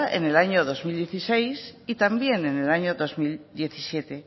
en el año dos mil dieciséis y también en el año dos mil diecisiete